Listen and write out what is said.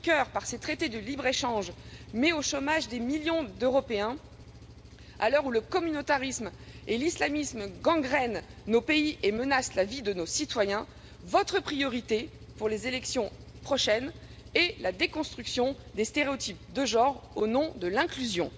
Juncker, par ses traités de libre échange, met au chômage des millions d'Européens, à l'heure où le communautarisme et l'islamisme gangrènent nos pays et menacent la vie de nos citoyens, votre priorité pour les élections prochaines est la déconstruction des stéréotypes de genre au nom de l'inclusion.